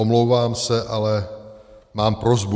Omlouvám se, ale mám prosbu.